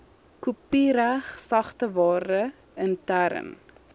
kopiereg sagteware interne